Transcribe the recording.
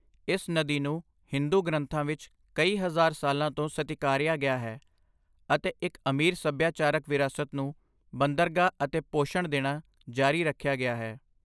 ਇਸ ਨਦੀ ਨੂੰ ਹਿੰਦੂ ਗ੍ਰੰਥਾਂ ਵਿੱਚ ਕਈ ਹਜ਼ਾਰ ਸਾਲਾਂ ਤੋਂ ਸਤਿਕਾਰਿਆ ਗਿਆ ਹੈ ਅਤੇ ਇੱਕ ਅਮੀਰ ਸੱਭਿਆਚਾਰਕ ਵਿਰਾਸਤ ਨੂੰ ਬੰਦਰਗਾਹ ਅਤੇ ਪੋਸ਼ਣ ਦੇਣਾ ਜਾਰੀ ਰੱਖਿਆ ਗਿਆ ਹੈ।